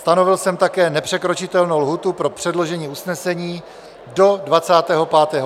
Stanovil jsem také nepřekročitelnou lhůtu pro předložení usnesení do 25. května 2021 do 13 hodin.